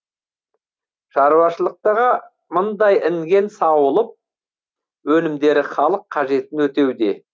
шаруашылықтағы мыңдай інген сауылып өнімдері халық қажетін өтеуде